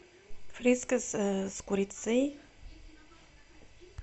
фрискас с курицей